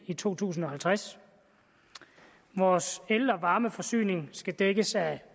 i to tusind og halvtreds at vores el og varmeforsyning skal dækkes af